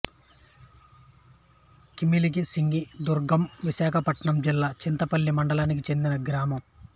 కిలిమిసింగి దుర్గం విశాఖపట్నం జిల్లా చింతపల్లి మండలానికి చెందిన గ్రామం